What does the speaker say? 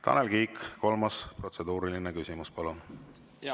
Tanel Kiik, kolmas protseduuriline küsimus, palun!